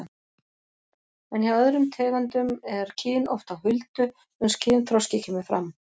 En hjá öðrum tegundum er kyn oft á huldu uns kynþroski kemur fram.